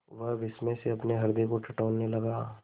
वह विस्मय से अपने हृदय को टटोलने लगा